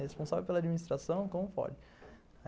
Responsável pela administração, como pode?